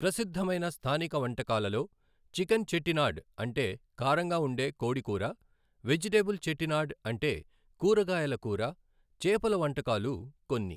ప్రసిద్ధమైన స్థానిక వంటకాలలో చికెన్ చెట్టినాడ్ అంటే కారంగా ఉండే కోడి కూర, వెజిటబుల్ చెట్టినాడ్ అంటే కూరగాయల కూర, చేపల వంటకాలు కొన్ని.